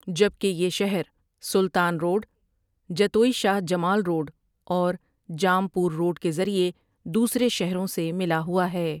جبکہ یہ Shehr Sultan road, Jatoi Shah Jamal road اور جام پور روڈ کے ذریعے دوسرے شہروں سے ملا ہوا ہے ۔